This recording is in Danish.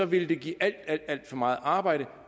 ville det give alt alt for meget arbejde